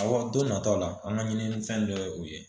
Awɔ don nataw la an ka ɲini fɛn dɔ ye o ye